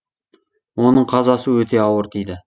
оның қазасы өте ауыр тиді